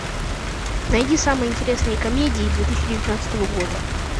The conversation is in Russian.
найди самые интересные комедии две тысячи девятнадцатого года